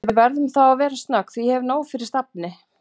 Við verðum þá að vera snögg því ég hef nóg fyrir stafni